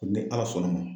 Ni ala sɔnna ma